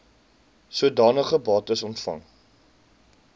sodanige bates ontvang